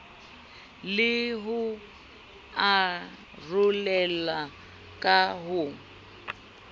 le ho arolelwa ka ho